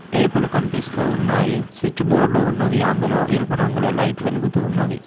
Table కనిపిస్తూ ఉన్నాయి switch board ఉన్నది అందులో ఎరుపు రంగు లో లైట్ వెలుగుతూ ఉన్నది.